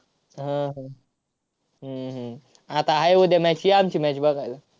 हा, हा. हम्म हम्म आता आहे उद्या match ये आमची match बघायला.